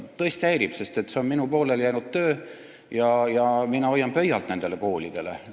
Tõesti häirib, sest see on minu pooleli jäänud töö ja mina hoian nendele koolidele pöialt.